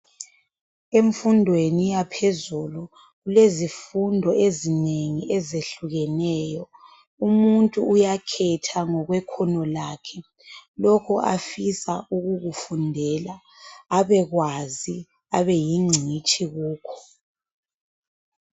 Imfundo yona iyaphezulu kulezifundo ezinengi ezehlukeneyo umuntu uyakhetha ngokwekhono lakhe lokho afisa ukukufundela abekwazi abeyingcitshi kukho.